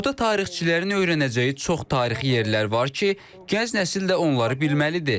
Burada tarixçilərin öyrənəcəyi çox tarixi yerlər var ki, gənc nəsil də onları bilməlidir.